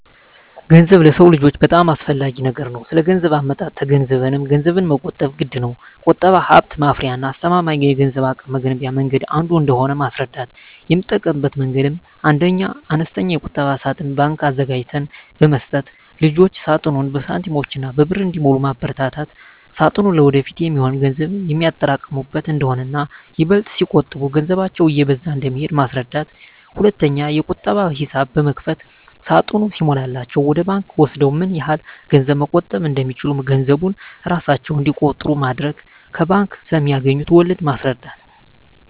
ገንዘብ ለሰው ልጆች በጣም አስፈላጊ ነገር ነው ስለገንዘብ አመጣጡ ተገንዝበንም ገንዘብን መቆጠብ ግድነው። ቁጠባ ሀብት ማፍሪያና አስተማማኝ የገንዘብ አቅም መገንቢያ መንገድ አንዱ እንደሆነ ማስረዳት: የምጠቀምበት መንገድ 1ኛ, አነስተኛ የቁጠባ ሳጥን (ባንክ) አዘጋጅተን በመስጠት ልጆች ሳጥኑን በሳንቲሞችና በብር እንዲሞሉ ማበርታት ሳጥኑ ለወደፊት የሚሆን ገንዘብ የሚያጠራቅሙበት እንደሆነና ይበልጥ ሲቆጥቡ ገንዘባቸው እየበዛ እንደሚሄድ ማስረዳት። 2ኛ, የቁጠባ ሂሳብ በመክፈት ሳጥኑ ሲሞላላቸው ወደ ባንክ ወስደው ምን ያህል ገንዘብ መቆጠብ እንደቻሉ ገንዘቡን እራሳቸው እንዲቆጥሩ ማድረግ። ከባንክ ስለማገኙት ወለድ ማስረዳት።